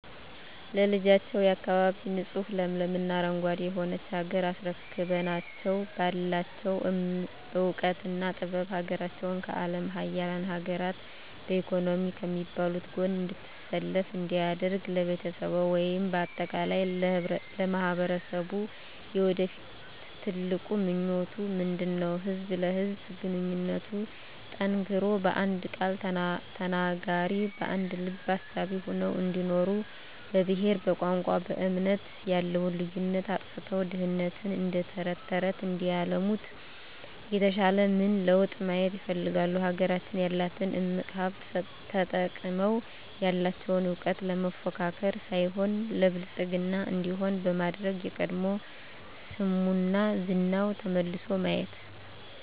ለልጆችዎ፣ የአካባቢ ንፁህ ለምለም እና አረንጓዴ የሆነች ሀገር አስረክበናቸው ባላቸው እውቀትና ጥበብ ሀገራቸውን ከአለም ሀያላን ሀገር በኢኮኖሚ ከሚባሉት ጎን እንድትሰለፍ እንዲያደርጉ ለቤተሰብዎ ወይም በአጠቃላይ ለማህበረሰብዎ የወደፊት ትልቁ ምኞቶ ምንድነው? ህዝብ ለህዝብ ግንኙነቱ ጠንክሮ በአንድ ቃል ተናጋሪ በአንድ ልብ አሳቢ ሆነው እንዲኖሩ በብሄር በቋንቋ በእምነት ያለውን ልዩነት አጥፍተው ድህነትን እደተረተረት እንዲያለሙት የተሻለ ምን ለውጥ ማየት ይፈልጋሉ? ሀገራችን ያላትን እምቅ ሀብት ተጠቅመው ያለቸውን እውቀት ለመፎካከር ሳይሆን ለብልፅግና እንዲሆን በማድረግ የቀድሞ ስሟና ዝናዋ ተመልሶ ማየት